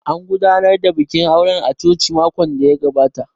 An gudanar da bikin auren a coci makon da ya gabata